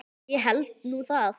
Ég held nú það!